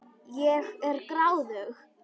Ég er gráðug.